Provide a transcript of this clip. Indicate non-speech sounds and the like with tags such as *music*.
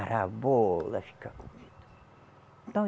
Ora bolas *unintelligible*